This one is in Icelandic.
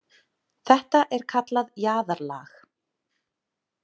Þetta er kallað jaðarlag.